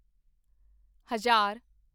ਹਜ਼ਾਰ